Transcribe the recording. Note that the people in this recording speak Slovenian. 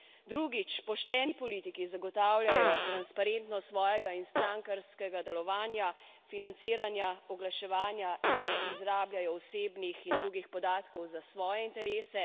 Drugič, pošteni politiki zagotavljajo transparentnost svojega in strankarskega delovanja, financiranja, oglaševanja in ne izrabljajo osebnih in drugih podatkov za svoje interese.